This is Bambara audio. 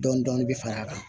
Dɔɔnin dɔɔnin bi far'a kan